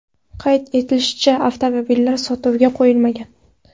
Qayd etilishicha, avtomobillar sotuvga qo‘yilmagan.